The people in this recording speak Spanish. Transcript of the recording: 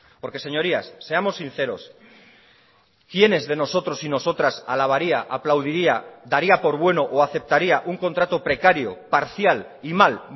porque señorías seamos sinceros quiénes de nosotros y nosotras alabaría aplaudiría daría por bueno o aceptaría un contrato precario parcial y mal